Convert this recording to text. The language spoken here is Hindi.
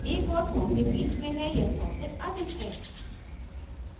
* एक और सौ के बीच में है या सौ से अधिक है